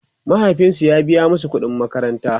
mahaifinsu ya biya masu ƙuɗin makaranta